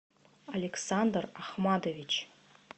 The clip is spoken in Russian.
александр ахматович